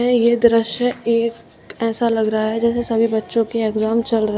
ये दृश्य एक ऐसा लग रहा है जैसे सभी बच्चों के एग्जाम चल रहे--